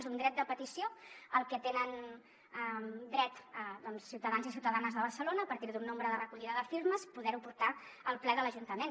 és un dret de petició al que tenen dret ciutadans i ciutadanes de barcelona a partir d’un nombre de recollida de firmes a poder ho portar al ple de l’ajuntament